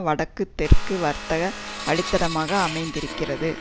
வடக்கு தெற்கு வர்த்தக வழித்தடமாக அமைந்திருக்கின்றது